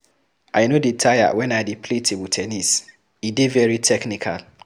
I no dey tire wen I dey play table ten nis, e dey very technical